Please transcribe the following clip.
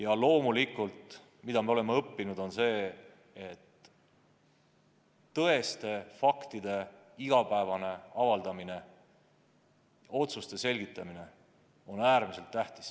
Aga me oleme tõesti õppinud seda, et tõeste faktide igapäevane avaldamine, otsuste selgitamine on äärmiselt tähtis.